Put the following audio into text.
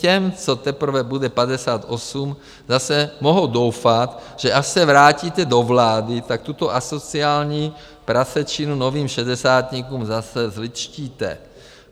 Těm, co teprve bude 58, zase mohou doufat, že až se vrátíte do vlády, tak tuto asociální prasečinu novým šedesátníkům zase zlidštíte.